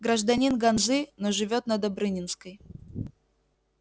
гражданин ганзы но живёт на добрынинской